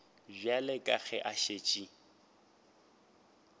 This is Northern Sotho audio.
bjale ka ge a šetše